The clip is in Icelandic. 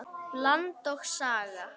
Land og Saga.